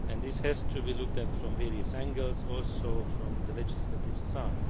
This has to be looked at from various angles and also from the legislative side.